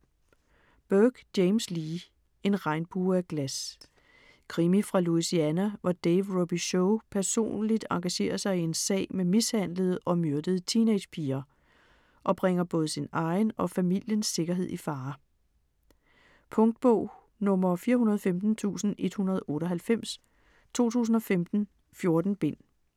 Burke, James Lee: En regnbue af glas Krimi fra Louisiana, hvor Dave Robicheaux personligt engagerer sig i en sag med mishandlede og myrdede teenage-piger og bringer både sin egen og familiens sikkerhed i fare. Punktbog 415198 2015. 14 bind.